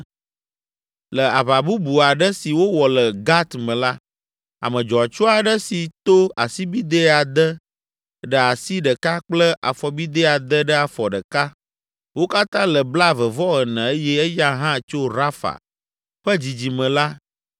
Le aʋa bubu aɖe si wowɔ le Gat me la, ame dzɔatsu aɖe si to asibidɛ ade ɖe asi ɖeka kple afɔbidɛ ade ɖe afɔ ɖeka, wo katã le blaeve-vɔ-ene eye eya hã tso Rafa ƒe dzidzime la